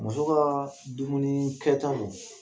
Muso ka dumuni kɛ taw